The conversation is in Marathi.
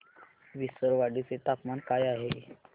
विसरवाडी चे तापमान काय आहे